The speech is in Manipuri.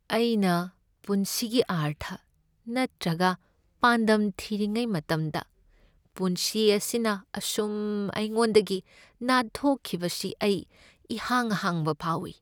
ꯑꯩꯅ ꯄꯨꯟꯁꯤꯒꯤ ꯑꯔꯊ ꯅꯠꯇ꯭ꯔꯒ ꯄꯥꯟꯗꯝ ꯊꯤꯔꯤꯉꯩ ꯃꯇꯝꯗ ꯄꯨꯟꯁꯤ ꯑꯁꯤꯅ ꯑꯁꯨꯝ ꯑꯩꯉꯣꯟꯗꯒꯤ ꯅꯥꯟꯊꯣꯛꯈꯤꯕꯁꯤ ꯑꯩ ꯏꯍꯥꯡ ꯍꯥꯡꯕ ꯐꯥꯎꯏ ꯫